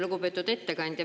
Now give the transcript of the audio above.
Lugupeetud ettekandja!